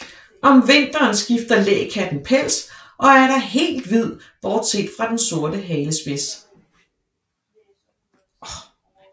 Om vinteren skifter lækatten pels og er da helt hvid bortset fra den sorte halespids